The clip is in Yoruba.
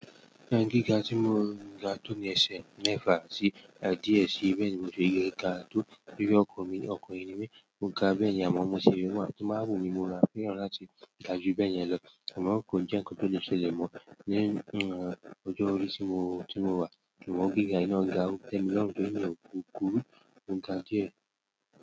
Ka gíga tí mo ga tó bi ẹsẹ mẹ́fà díẹ̀ sí ibi tí mo ti gbé ga tóri ọkùnrin ni mi, mo ga bẹ́ẹ̀ yẹn, àmọ́ ó mú ṣe wí wà, tí máa wù mí mu ara fún ìran láti ga ju bẹ́ẹ̀ yẹn lọ, àmọ́ ko jẹ́ nǹkan tó le ṣẹlẹ̀ mọ̀ ní ọjọ́ orí tí mo wà, ṣùgbọ́n gíga yìí náà ga, ó tẹ́ mi lọ́run bẹ́ẹ̀ torí mi o kúrú mo ga díẹ̀.